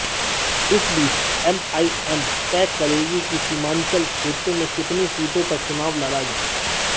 इस बीच एमआईएम तय करेगी कि सीमांचल क्षेत्र में कितनी सीटों पर चुनाव लड़ा जाए